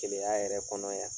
Gɛlɛyaya yɛrɛ kɔnɔ yan